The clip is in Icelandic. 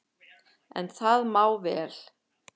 En það má vel,